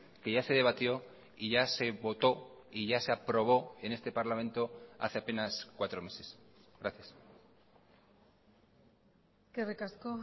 que ya se debatió y ya se votó y ya se aprobó en este parlamento hace apenas cuatro meses gracias eskerrik asko